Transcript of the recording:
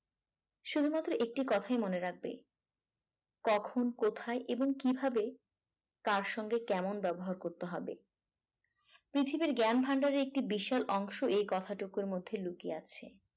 শুধুমাত্র একটি কথাই মনে রাখবে কখন কোথায় এবং কিভাবে কার সঙ্গে কেমন ব্যবহার করতে হবে পৃথিবীর জ্ঞান ভান্ডার এর একটি বিশাল অংশ এই কথাটুকুর মধ্যে লুকিয়ে আছে